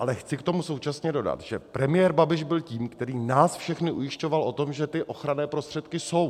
Ale chci k tomu současně dodat, že premiér Babiš byl tím, který nás všechny ujišťoval o tom, že ty ochranné prostředky jsou.